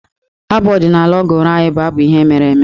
Abụ ọdịnaala ọ gụrụ anyị bụ abụ ihe mere eme.